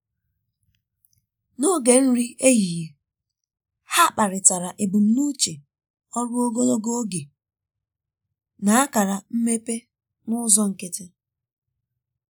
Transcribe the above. n’oge nri um ehihie ha kparịtara ebumnuche ọrụ ogologo oge na akara mmepe n’ụzọ nkịtị.